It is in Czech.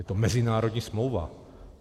Je to mezinárodní smlouva.